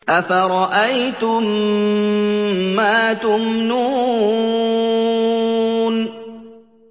أَفَرَأَيْتُم مَّا تُمْنُونَ